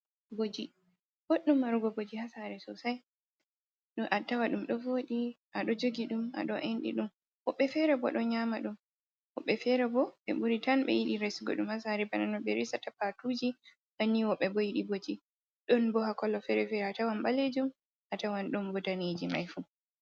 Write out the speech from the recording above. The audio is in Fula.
Boji, bodɗum marugo Boji ha Sare Sosai.ɗo attawa ɗum ɗo voɗi aɗo Jogi ɗum aɗo enɗi ɗum. wobbe fere bo ɗon Nyama ɗum, wobbe Fere bo ɓe ɓuri tan ɓe yiɗi Resugo ɗum ha Sare bana no ɓe Resata Patuji banni wobɓe bo yiɗi Boji. ɗonbo Kolo Fere-Fere atawan ɓalejum atawan ɗonbo Dudaneji mai fu.